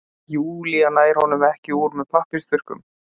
Júlía nær honum ekki úr með pappírsþurrkum.